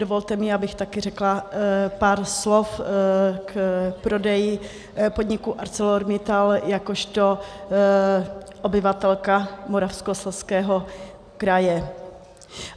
Dovolte mi, abych také řekla pár slov k prodeji podniku ArcelorMittal jakožto obyvatelka Moravskoslezského kraje.